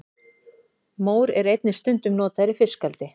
mór er einnig stundum notaður í fiskeldi